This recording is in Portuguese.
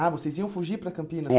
Ah, vocês iam fugir para Campinas? É